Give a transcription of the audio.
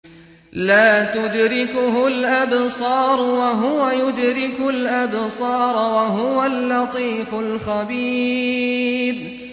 لَّا تُدْرِكُهُ الْأَبْصَارُ وَهُوَ يُدْرِكُ الْأَبْصَارَ ۖ وَهُوَ اللَّطِيفُ الْخَبِيرُ